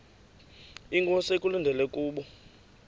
inkosi ekulindele kubo